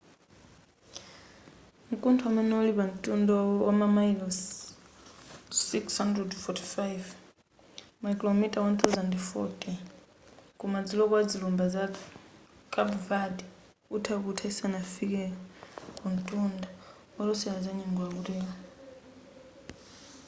mkuntho umene uli pa ntunda wamamayilosi 645 makilomita 1040 ku madzulo kwa zilumba za carpe verde utha kutha isanafike kuntunda olosela za nyengo akutero